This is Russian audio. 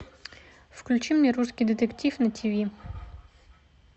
включи мне русский детектив на тв